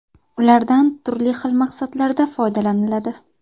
Ulardan turli xil maqsadlarda foydalaniladi.